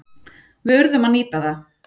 Við urðum að nýta það.